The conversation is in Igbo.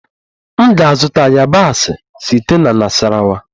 M ga-azụta yabasị site na Nasarawa